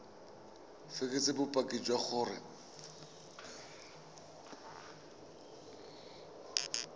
o fekese bopaki jwa gore